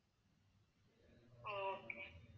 ஓ okay